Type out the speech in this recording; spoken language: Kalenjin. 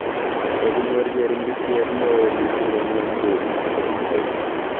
Koginyoor cheringisyet neoo missing eng ng'wonduni komi China